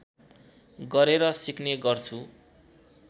गरेर सिक्ने गर्छु